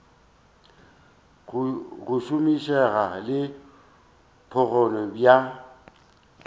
go šomišega le bokgoni bja